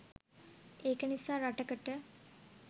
ඒක නිසා රටකට